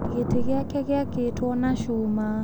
Gĩtĩ gĩake gĩakĩtwo na cuma.